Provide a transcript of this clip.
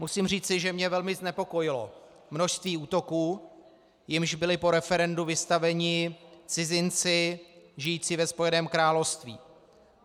Musím říci, že mě velmi znepokojilo množství útoků, jimž byli po referendu vystaveni cizinci žijící ve Spojeném království.